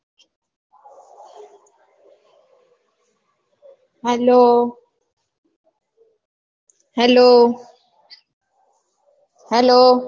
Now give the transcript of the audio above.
hello hellohello